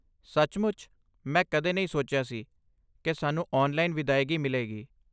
ਸੱਚਮੁੱਚ, ਮੈਂ ਕਦੇ ਨਹੀਂ ਸੋਚਿਆ ਸੀ ਕਿ ਸਾਨੂੰ ਔਨਲਾਈਨ ਵਿਦਾਇਗੀ ਮਿਲੇਗੀ।